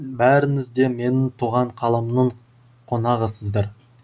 бәріңіз де менің туған қаламның қонағысыздар